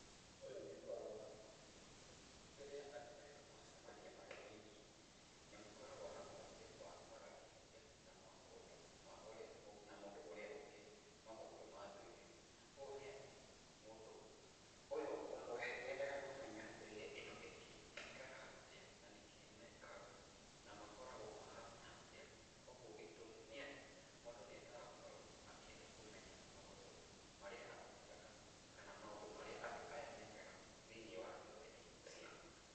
Ũyũ nĩ ũhoro wa ma, kaingĩ rĩrĩa andũ erũ macemania marĩ oiki, nĩ makoragwo na mweke wa kwarangĩrĩria na mũndũ ma ũrĩa ũngĩ na mũndũ ũrĩa ũngĩ maũndũ ma ndũire. Ũũ nĩ atĩ, mũndũ ũyũ ũmwe nĩ endaga kũmenya ndũire ĩno ĩngĩ ĩikaraga atĩa na nĩkĩ mekaga na makoragwo mahana atĩa, kũguo gĩtũmi nĩ atĩ mũndũ nĩ endaga gũkorwo akĩenda kũmenya maũndũ marĩa atekaga kana maũndũ marĩa andũ aya mekaga, thĩ-inĩ wa ndũrĩrĩ-inĩ ciao.